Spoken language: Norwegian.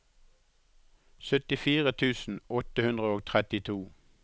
syttifire tusen åtte hundre og trettito